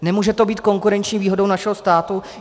Nemůže to být konkurenční výhodou našeho státu?